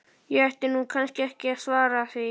Ég ætti nú kannski ekki að svara því.